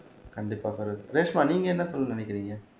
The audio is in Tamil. கண்டிப்பா பெரோஸ் ரேஷ்மா நீங்க என்ன சொல்ல நினைக்கிறீங்க